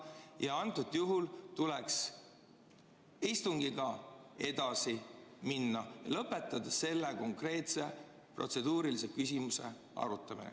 Ka antud juhul tuleks istungiga edasi minna, lõpetades selle konkreetse protseduurilise küsimuse arutamise.